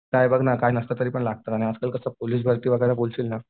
काय बघ ना काय नसतं तरीपण लागतात आणि असं कसं पोलीस भरती वगैरे बोलशील ना